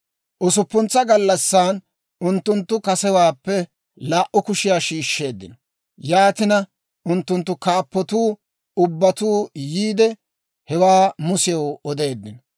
Usuppuntsa gallassan unttunttu kasewaappe laa"u kushiyaa shiishsheeddino. Yaatina unttunttu kaappatuu ubbatuu yiide hewaa Musew odeeddino.